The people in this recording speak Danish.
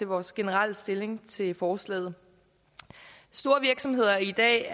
vores generelle stilling til forslaget store virksomheder er i dag